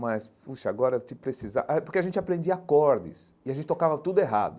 Mas, puxa, agora te precisar... Eh porque a gente aprendia acordes e a gente tocava tudo errado.